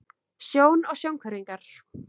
Sjón og sjónhverfingar.